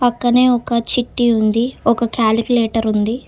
పక్కనే ఒక చిట్టి ఉంది ఒక క్యాలిక్యులేటర్ ఉంది.